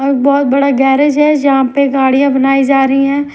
बहुत बड़ा गैरेज है जहां पे गाड़ियां बनाई जा रही हैं।